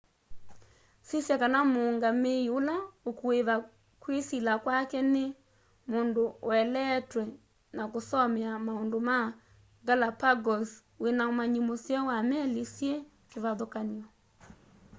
sisya kana muungamii ula ukuiva kwisila kwake ni mundu ueleetwe na kusomea maundu ma galapagos wina umanyi museo wa meli syi kivathukany'o